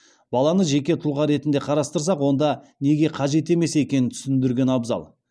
баланы жеке тұлға ретінде қарастырсақ онда неге қажет емес екенін түсіндірген абзал